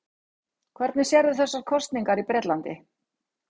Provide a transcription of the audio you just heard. Hvernig sérðu þessar kosningar í Bretlandi?